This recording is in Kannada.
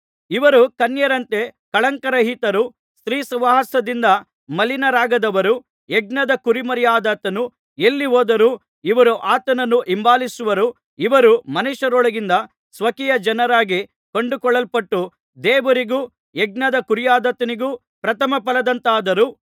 ಇವರು ಕನ್ಯೆಯರಂತೆ ಕಳಂಕರಹಿತರು ಸ್ತ್ರೀ ಸಹವಾಸದಿಂದ ಮಲಿನರಾಗದವರು ಯಜ್ಞದ ಕುರಿಮರಿಯಾದಾತನು ಎಲ್ಲಿ ಹೋದರೂ ಇವರು ಆತನನ್ನು ಹಿಂಬಾಲಿಸುವರು ಇವರು ಮನುಷ್ಯರೊಳಗಿಂದ ಸ್ವಕೀಯ ಜನರಾಗಿ ಕೊಂಡುಕೊಳ್ಳಲ್ಪಟ್ಟು ದೇವರಿಗೂ ಯಜ್ಞದ ಕುರಿಯಾದಾತನಿಗೂ ಪ್ರಥಮಫಲದಂತಾದರು